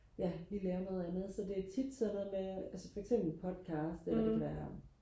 ja lige lave noget andet så det er tit sådan noget med altså for eksempel podcast eller det kan være